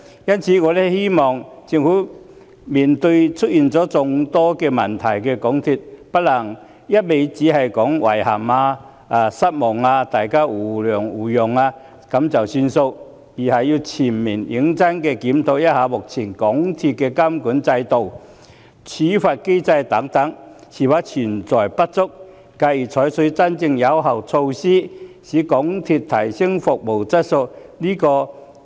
因此，面對出現眾多問題的港鐵公司，我希望政府不能只說句"遺憾"、"失望"，或請大家互諒互讓便作罷，而要全面認真檢討港鐵公司目前的監管制度及處罰機制等是否存在不足，繼而採取真正有效的措施，提升港鐵公司的服務質素。